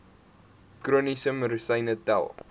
chroniese medisyne tel